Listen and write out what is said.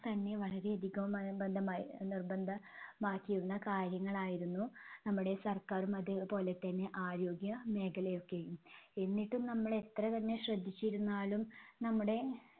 തന്നെ വളരെ അധികം , നിർബന്ധമാക്കിയിരുന്ന കാര്യങ്ങളായിരുന്നു നമ്മുടെ സർക്കാരും അതേപോലെതന്നെ ആരോഗ്യമേഖലയൊക്കെയും. എന്നിട്ടും നമ്മൾ എത്ര തന്നെ ശ്രദ്ധിച്ചിരുന്നാലും നമ്മുടെ